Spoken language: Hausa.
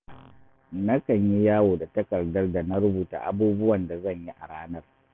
Nakan yi yawo da takardar da na rubuta abubuwan da zan yi a ranar